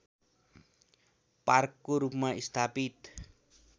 पार्कको रूपमा स्थापित